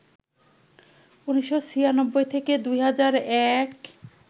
১৯৯৬ থেকে ২০০১